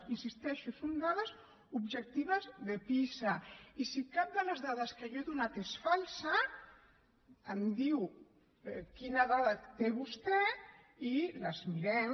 hi insisteixo són dades objectives de pisa i si cap de les dades que jo he donat és falsa em diu quina dada té vostè i les mirem